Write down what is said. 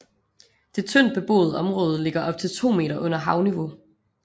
Det tyndt beboede område ligger op til 2 meter under havniveau